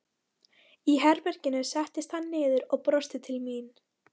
Í herberginu settist hann niður og brosti til mín.